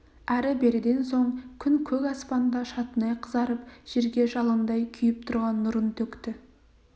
әрі-беріден соң күн көк аспанда шатынай қызарып жерге жалындай күйіп тұрған нұрын төкті